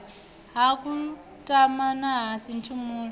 ha kutama na ha sinthumule